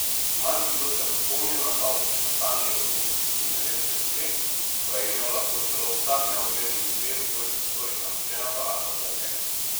Marsikdo se bo spomnil na kaotično stanje iz osemdesetih in devetdesetih let, ko je imel lahko celo vsak neugleden bife v svojih prostorih nameščen aparat za poker.